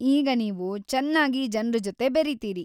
ಈಗ ನೀವು ಚನ್ನಾಗಿ ಜನ್ರ ಜೊತೆ ಬೆರೀತೀರಿ.